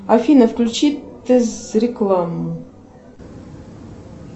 афина включи тез рекламу